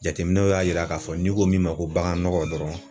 Jateminɛw y'a yira k'a fɔ n'i ko min ma ko baganɔgɔ dɔrɔn